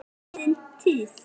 Það er liðin tíð.